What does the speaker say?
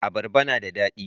abarba na da dadi